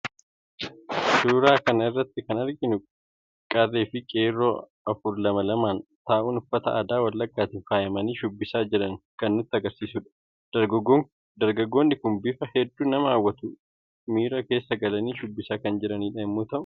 Suuraa kana irratti kan arginu Kun qarreefi qeerroo afur lama lamaan ta'uun uffata aadaa wallaggaatiin faayamanii shubbibisaa jiran kan nutti agarsiisudha. Dargaggoonni Kun bifa hedduu nama hawwatuun miira keessa galanii shubbisaa kan jiranidha.